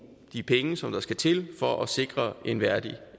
de penge som der skal til for at sikre en værdig